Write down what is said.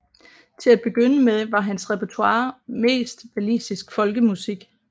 Til at begynde med var hans repertoire mest walisisk folkemusik